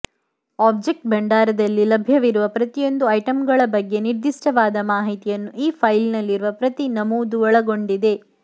object ಭಂಡಾರದಲ್ಲಿ ಲಭ್ಯವಿರುವ ಪ್ರತಿಯೊಂದು ಐಟಂಗಳ ಬಗ್ಗೆ ನಿರ್ದಿಷ್ಟವಾದ ಮಾಹಿತಿಯನ್ನು ಈ ಫೈಲ್ನಲ್ಲಿರುವ ಪ್ರತಿ ನಮೂದು ಒಳಗೊಂಡಿದೆ